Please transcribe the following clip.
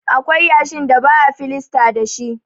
Akwai yashin da ba a filasta dashi.